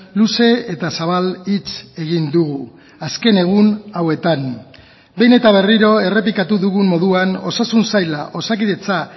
luze eta zabal hitz egin dugu azken egun hauetan behin eta berriro errepikatu dugun moduan osasun saila osakidetza